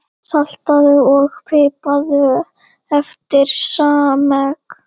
Saltaðu og pipraðu eftir smekk.